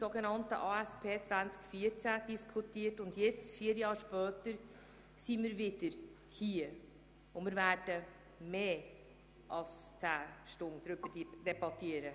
Jetzt sind wir vier Jahre später wieder in diesem Saal, und wir werden mehr als 10 Stunden debattieren.